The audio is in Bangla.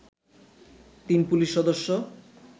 তিন পুলিশ সদস্য